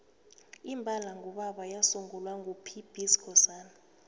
imbala ngubaba yasungulwa ngo pb skhosana